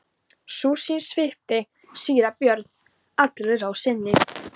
Sú sýn svipti síra Björn allri ró sinni.